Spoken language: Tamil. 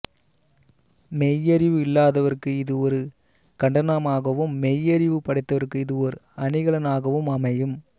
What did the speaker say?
மெய்யறிவு இல்லாதவர்க்கு இது ஒரு கண்டனமாகவும் மெய்யறிவு படைத்தவர்க்கு இது ஓர் அணிகலனாகவும் அமையும்